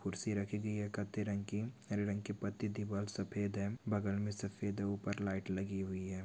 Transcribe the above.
कुर्सी रखी गई है कत्थे रंग की हरे रंग की पत्ती दीवाल सफेद है बगल में सफेद है ऊपर लाईट लगी हुई है।